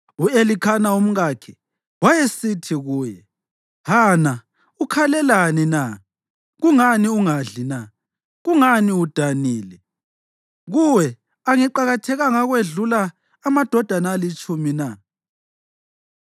U-Elikhana umkakhe, wayesithi kuye, “Hana, ukhalelani na? Kungani ungadli na? Kungani udanile? Kuwe angiqakathekanga ukwedlula amadodana alitshumi na?”